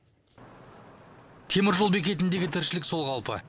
теміржол бекетіндегі тіршілік сол қалпы